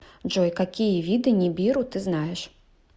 джой какие виды нибиру ты знаешь